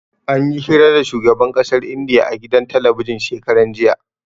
Anyi hira da shugaban ƙasar Indiya a gidan talabijin shekaran jiya.